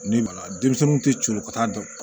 Ne ma denmisɛnnin tɛ coron ka taa